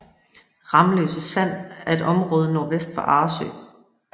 Ramløse Sand er et område nordvest for Arresø